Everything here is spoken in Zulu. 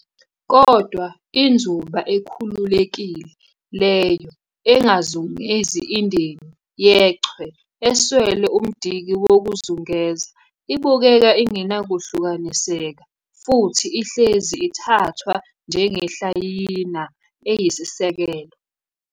Kodwa inzuba ekhululekile - leyo engazungezi indeni yechwe, eswele umdiki wokuzungeza - ibukeka ingenakuhlukaniseka futhi ihleze ithathwa njengehlayiyana eyisiseko.